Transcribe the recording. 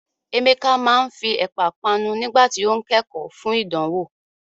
Emeka máa ń fi Ẹ̀pà panu nígbà tí ó ń kẹ́kọ̀ọ́ fún ìdánwò.